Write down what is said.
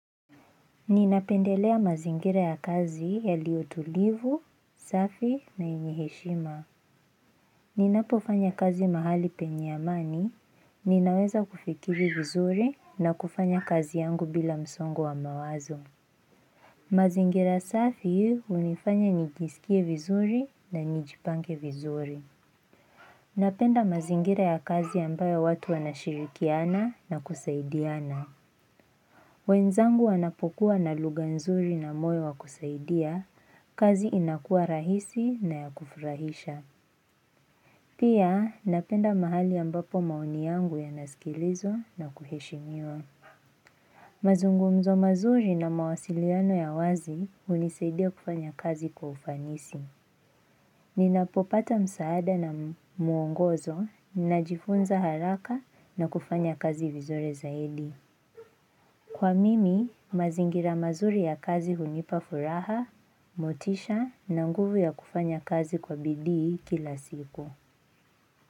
Ninapendelea mazingira ya kazi yaliyotulivu, safi na yenye heshima. Ninapofanya kazi mahali penye amani, ninaweza kufikiri vizuri na kufanya kazi yangu bila msongo wa mawazo. Mazingira safi hunifanya nijisikie vizuri na nijipange vizuri. Napenda mazingira ya kazi ambayo watu wanashirikiana na kusaidiana. Mwenzangu anapokuwa na lugha nzuri na moyo wa kusaidia, kazi inakuwa rahisi na ya kufurahisha. Pia napenda mahali ambapo maoni yangu yanasikilizwa na kuheshimiwa. Mazungumzo mazuri na mawasiliano ya wazi hunisaidia kufanya kazi kwa ufanisi. Ninapopata msaada na muongozo, najifunza haraka na kufanya kazi vizuri zaidi. Kwa mimi, mazingira mazuri ya kazi hunipafuraha, motisha na nguvu ya kufanya kazi kwa bidii kila siku.